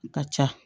Ka ca